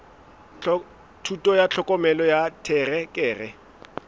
thuto ya tlhokomelo ya terekere